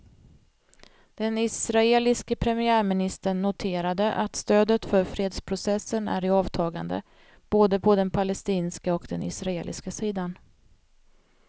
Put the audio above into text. Den israeliske premiärministern noterade att stödet för fredsprocessen är i avtagande, både på den palestinska och den israeliska sidan.